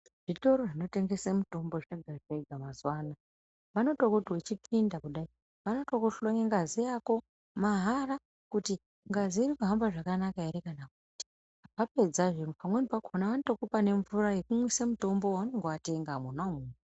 Zvitoro zvinotengese mitombo zvazvakuita mazuvaano, vanototi uchipinda kudai, vanotokuhlore ngazi yako mahara kuti ngazi ririkuhambe zvakanaka here kana kuti, vapedzazve pamweni kwakona vanotokupa mvura yekunwisa mitombo waunenge watenga monamo.